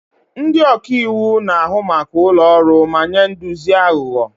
Ndị ọka iwu na-ahụ maka ụlọ ọrụ ma nye nduzi aghụghọ.